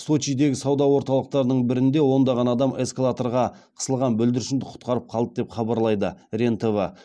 сочидегі сауда орталықтарының бірінде ондаған адам эсклаторға қысылған бүлдіршінді құтқарып қалды деп хабарлайды рен тв